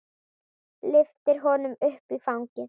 Lyftir honum upp í fangið.